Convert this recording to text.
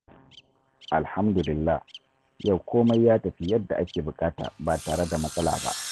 Alhamdulillah, yau komai ya tafi yadda ake buƙata, ba tare da matsala ba.